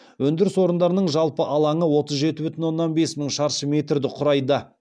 өндіріс орындарының жалпы алаңы отыз жеті бүтін оннан бес мың шаршы метрді құрайды